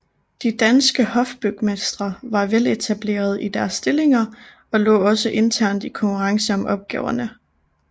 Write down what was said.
De danske hofbygmestre var veletablerede i deres stillinger og lå også internt i konkurrence om opgaverne